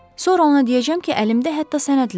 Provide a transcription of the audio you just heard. Sonra ona deyəcəm ki, əlimdə hətta sənədlər var.